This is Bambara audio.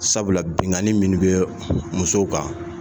Sabula binnkani minnu bɛ musow kan